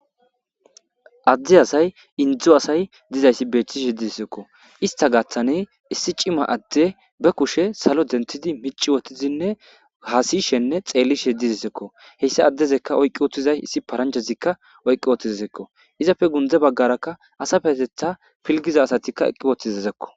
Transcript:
Adde asay inddo asay dizayssi beeththishe dizeysikoo; isththa gaththanii issi cima addee be kushee salo denththidi micci woththizinne haasishenne xeellishe dizeesikoo; heyssa addezikka oyqqi uththiza issi paranjjazikka oyqqi uththizesikoo; izape gundde baggarakka asa payatheththaa pilggida asathikka eqqi woththizezakoo.